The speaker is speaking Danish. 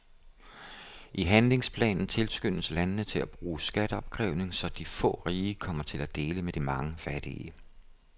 I handlingsplanen tilskyndes landene til at bruge skatteopkrævning, så de få rige kommer til at dele med de mange fattige.